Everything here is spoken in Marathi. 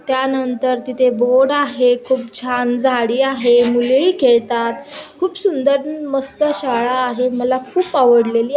त्यानंतर तिथे बोर्ड आहे खूप छान झाडी आहे मुलेही खेळतात खूप सुंदर मस्त शाळा आहे मला खूप आवडलेली--